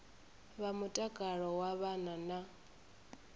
vha mutakalo wa vhana na